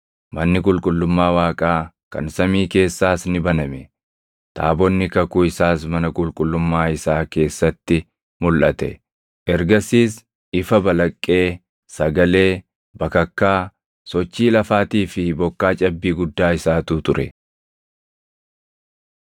Manni qulqullummaa Waaqaa kan samii keessaas ni baname; taabonni kakuu isaas mana qulqullummaa isaa keessatti mulʼate. Ergasiis ifa balaqqee, sagalee, bakakkaa, sochii lafaatii fi bokkaa cabbii guddaa isaatu ture.